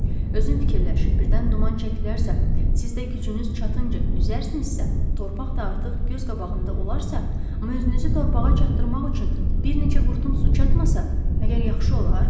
Özün fikirləş, birdən duman çəkilərsə, siz də gücünüz çatınca üzərsinizsə, torpaq da artıq göz qabağında olarsa, amma özünüzü torpağa çatdırmaq üçün bir neçə qurtum su çatmasa, məgər yaxşı olar?